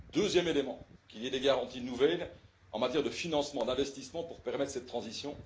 Deuxièmement, qu'il y ait des garanties nouvelles en matière de financement et d'investissement pour permettre cette transition.